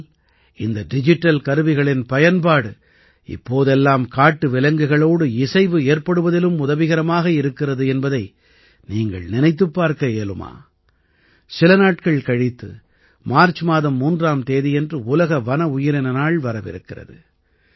ஆனால் இந்த டிஜிட்டல் கருவிகளின் பயன்பாடு இப்போதெல்லாம் காட்டு விலங்குகளோடு இசைவு ஏற்படுவதிலும் உதவிகரமாக இருக்கிறது என்பதை நீங்கள் நினைத்துப் பார்க்க இயலுமா சில நாட்கள் கழித்து மார்ச் மாதம் 3ஆம் தேதியன்று உலக வன உயிரின நாள் வரவிருக்கிறது